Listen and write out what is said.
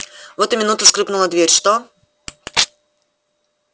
в эту минуту скрыпнула дверь что